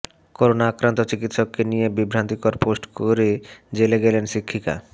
corona আক্রান্ত চিকিৎসককে নিয়ে বিভ্রান্তিকর পোস্ট করে জেলে গেলেন শিক্ষিকা